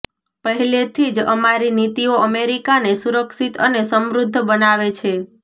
પહેલેથી જ અમારી નીતિઓ અમેરિકાને સુરક્ષિત અને સમૃદ્ધ બનાવે છે